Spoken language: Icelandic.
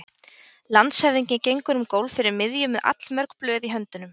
Landshöfðingi gengur um gólf fyrir miðju með allmörg blöð í höndunum.